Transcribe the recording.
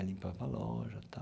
Aí limpava a loja e tal.